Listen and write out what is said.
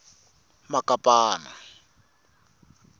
makapana